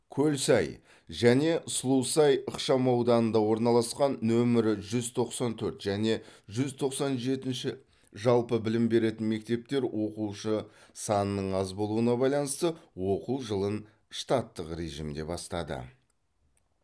көлсай және сұлусай ықшамауданында орналасқан нөмірі жүз тоқсан төрт және жүз тоқсан жетінші жалпы білім беретін мектептер оқушы санының аз болуына байланысты оқу жылын штаттық режимде бастады